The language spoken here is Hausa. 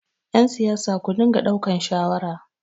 yansiyasa ku dinga daukan shawara!